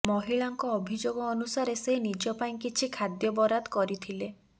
ମହିଳାଙ୍କ ଅଭିଯୋଗ ଅନୁସାରେ ସେ ନିଜ ପାଇଁ କିଛି ଖାଦ୍ୟ ବରାଦ କରଥିଲେ